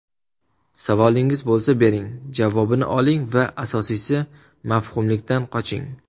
Savolingiz bo‘lsa bering, javobini oling va asosiysi mavhumlikdan qoching.